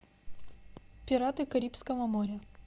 пираты карибского моря